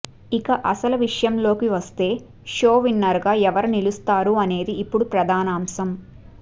ఇక అసలు విషయంలోకి వస్తే షో విన్నర్ గా ఎవరు నిలుస్తారు అనేది ఇప్పుడు ప్రధానాంశం